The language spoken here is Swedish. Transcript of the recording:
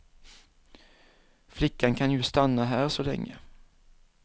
Flickan kan ju stanna här så länge.